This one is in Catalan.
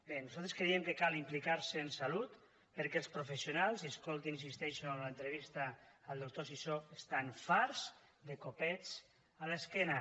bé nosaltres creiem que cal implicar se en salut perquè els professionals i escoltin hi insisteixo l’entrevista al doctor sisó estan farts de copets a l’esquena